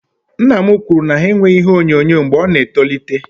Nna m kwụrụ na ha enweghị ihe onyonyo mgbe ọ na etolite